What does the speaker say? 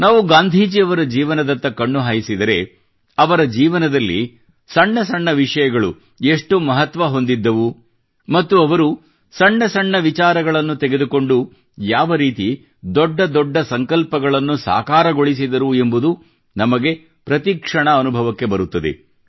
ನಾವು ಗಾಂಧೀಜಿಯವರ ಜೀವನದತ್ತ ಕಣ್ಣು ಹಾಯಿಸಿದರೆ ಅವರ ಜೀವನದಲ್ಲಿ ಸಣ್ಣ ಸಣ್ಣ ವಿಷಯಗಳು ಎಷ್ಟು ಮಹತ್ವ ಹೊಂದಿದ್ದವು ಮತ್ತು ಅವರು ಸಣ್ಣ ಸಣ್ಣ ವಿಚಾರಗಳನ್ನು ತೆಗೆದುಕೊಂಡು ಯಾವ ರೀತಿ ದೊಡ್ಡ ದೊಡ್ಡ ಸಂಕಲ್ಪಗಳನ್ನು ಸಾಕಾರಗೊಳಿಸಿದರು ಎಂಬುದು ನಮಗೆ ಪ್ರತಿ ಕ್ಷಣ ಅನುಭವಕ್ಕೆ ಬರುತ್ತದೆ